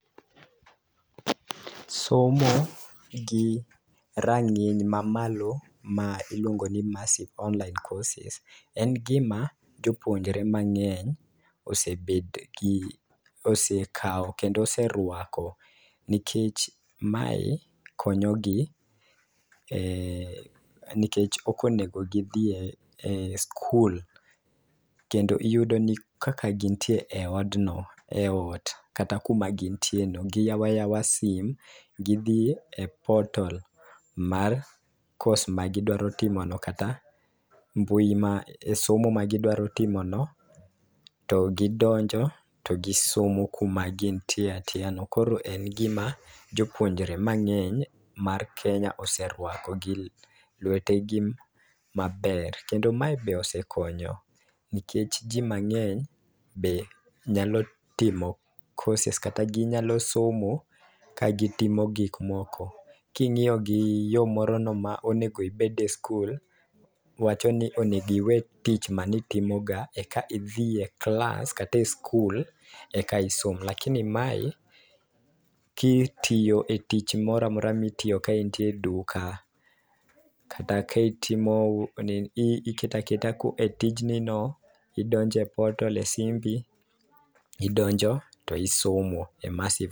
Somo gi rang'iny ma malo ma iluongo ni massive online course en gi ma jopunjre mang'eny osebedo gi osekawo kendo oserwako nikech ma konyo gi nikech ok onego gi dhiye e skul kendo iyudo ni kaka gin tiere e od no e ot kata ku ma gin tie no gi yawo ayawa sim gi dhi e portal mar courses ma gi dwaro timo no kata e mbui ma e somo gi dwaro timo no to gi donjo to gi somo ku ma gin tiere atieya no koro en gi ma jopuonjre ma ng'eny mar Kenya oserwako gi lwete gi ma ber. Kendo mae be osekonyo nikech ji mang'eny be nyalo timo courses kata gi nyalo somo ka gi timo gik moko. Ki ing'iyo gi yo moro no ma onego ibed e skul wacho ni onego iwe tich mane itimo ga e ka idhi e klas kata e skul e ka isom lakini ma eki itiyo etich moro amora mi itiyo ka in tie duka kata ka itimo ni iketo aketa e tiji no idonjo e portal] e sim no idonjo to isomo e massive.